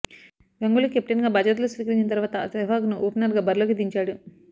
గంగూలీ కెప్టెన్గా బాధ్యతలు స్వీకరించిన తర్వాత సెహ్వాగ్ను ఓపెనర్గా బరిలోకి దించాడు